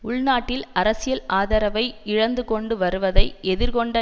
உள்நாட்டில் அரசியல் ஆதரவை இழந்துகொண்டு வருவதை எதிர்கொண்ட